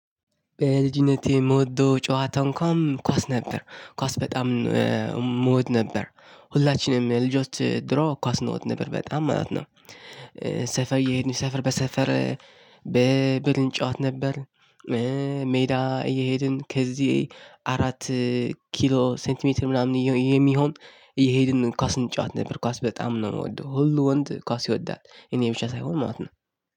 በልጅነቴ የምወደው ጨዋታ እንኳን ኳስ ነበር ኳስ በጣም የምወድ ነበር ሁላችንም ልጆች ድሮ ኳስ እንወድ ነበር በጣም ማለት ነው። ሰፈር እየሄድን ሰፈር በሰፈር በብር እንጫወት ነበር። ሜዳ እየሄድን ከዚ አራት ኪሎ ሴንቲ ሜትር ምናምን የሚሆን እየሄድን ኳስ እንጫወት ነበር ኳስ በጣም ነው ምወደው ሁሉ ወንድ ኳስ ይወዳል እኔ ብቻ ሳይሆን ማለት ነው።